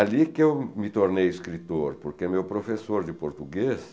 Ali que eu me tornei escritor, porque meu professor de português